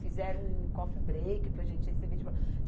Fizeram um coffee break para a gente receber diploma